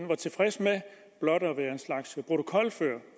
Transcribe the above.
var tilfreds med blot at være en slags protokolfører